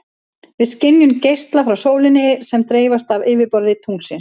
Við skynjum geisla frá sólinni sem dreifast af yfirborði tunglsins.